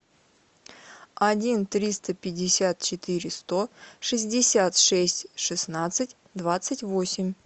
один триста пятьдесят четыре сто шестьдесят шесть шестнадцать двадцать восемь